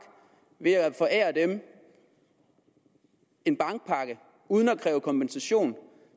ved at forære dem en bankpakke uden at kræve kompensation